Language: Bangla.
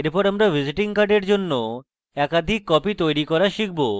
এরপর আমরা visiting card জন্য একাধিক copies তৈরী করা শিখব